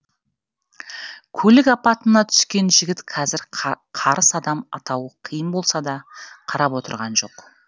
көлік апатына түскен жігіт қазір қарыс қадам аттауы қиын болса да қарап отырған жоқ